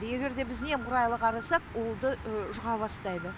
егер де біз немқұрайлы қарасақ ол ды жұға бастайды